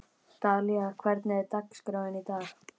Dalía, hvernig er dagskráin í dag?